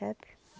Sabe?